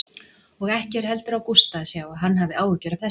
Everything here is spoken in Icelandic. Og ekki er heldur á Gústa að sjá að hann hafi áhyggjur af þessu.